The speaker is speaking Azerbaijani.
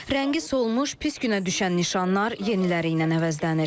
Rəngi solmuş, pis günə düşən nişanlar yeniləri ilə əvəzlənir.